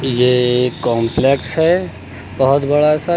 ये एक कंपलेक्स है बहुत बड़ा सा--